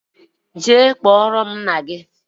jee kpọrọ m nna gi